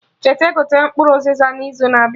Cheta gote mkpụrụ Uziza na izu na-abịa